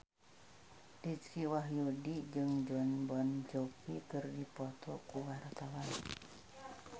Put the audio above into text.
Dicky Wahyudi jeung Jon Bon Jovi keur dipoto ku wartawan